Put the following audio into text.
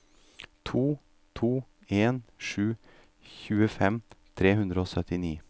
to to en sju tjuefem tre hundre og syttini